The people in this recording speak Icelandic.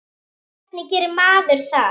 Hvernig gerir maður það?